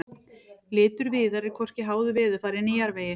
litur viðar er hvorki háður veðurfari né jarðvegi